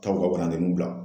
Taa u ka waladeninw bila